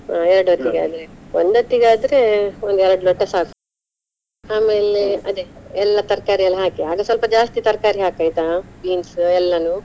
ಹ ಎರಡ್ ಒಂದ್ ಹೊತ್ತಿಗೆ ಆದ್ರೆ, ಒಂದ್ ಎರಡ್ ಲೋಟ ಸಾಕು ಆಮೇಲೆ ಅದೆ ಎಲ್ಲಾ ತರ್ಕಾರಿ ಎಲ್ಲಾ ಹಾಕಿ, ಆಗ ಸ್ವಲ್ಪ ಜಾಸ್ತಿ ತರ್ಕಾರಿ ಹಾಕಾಯ್ತಾ beans ಎಲ್ಲಾನು.